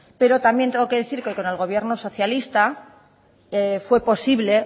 pero también tengo que decir que con el gobierno socialista fue posible